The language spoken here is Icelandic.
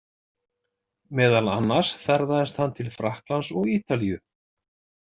Meðal annars ferðaðist hann til Frakklands og Ítalíu.